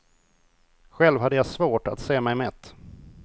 Själv hade jag svårt att se mig mätt.